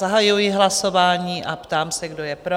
Zahajuji hlasování a ptám se, kdo je pro?